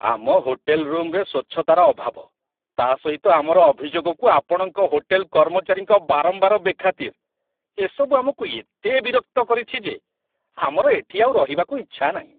ଆମ ହୋଟେଲ ରୁମରେ ସ୍ୱଚ୍ଛତାର ଅଭାବ, ତା' ସହିତ ଆମର ଅଭିଯୋଗକୁ ଆପଣଙ୍କ ହୋଟେଲ କର୍ମଚାରୀଙ୍କ ବାରମ୍ବାର ବେଖାତିର, ଏସବୁ ଆମକୁ ଏତେ ବିରକ୍ତ କରିଛି ଯେ ଆମର ଏଠି ଆଉ ରହିବାକୁ ଇଛା ନାହିଁ।